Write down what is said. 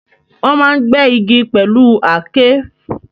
Wọ́n máa ń gbẹ́ igi pẹ̀lú Aké